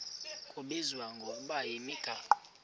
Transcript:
kubizwa ngokuba yimigaqo